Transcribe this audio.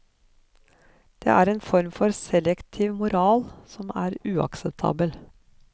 Det er en form for selektiv moral som er uakseptabel.